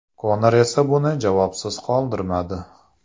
Konor esa buni javobsiz qoldirmadi .